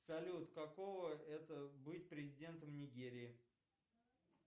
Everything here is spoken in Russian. салют какого это быть президентом нигерии